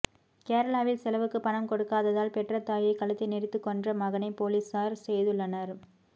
கேரளாவில் செலவுக்கு பணம் கொடுக்காததால் பெற்ற தாயை கழுத்தை நெரித்து கொன்ற மகனை போலீஸார் செய்துள்ளனர்